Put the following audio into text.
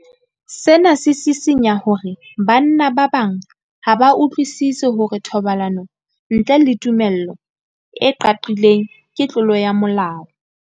Sena se sisinya hore banna ba bang ha ba utlwisisi hore thobalano ntle le tumello e qaqileng ke tlolo ya molao.